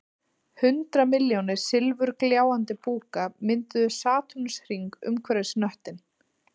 Hundrað milljónir silfurgljáandi búka mynduðu satúrnusarhring umhverfis hnöttinn